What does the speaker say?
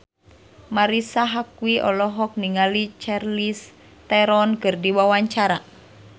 Marisa Haque olohok ningali Charlize Theron keur diwawancara